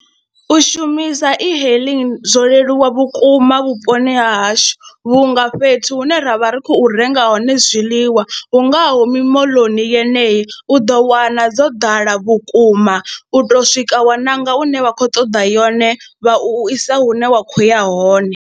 U shumisa e-hailing zwo leluwa vhukuma vhuponi ha hashu vhunga fhethu hune ra vha ri khou renga hone zwiḽiwa hu ngaho mimoḽoni yeneyi u ḓo wana dzo ḓala vhukuma u tou swika wa nanga ine wa khou ṱoḓa yone vha u isa hune wa khou ya hone.